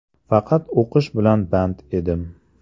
Faqat o‘qish bilan band edim.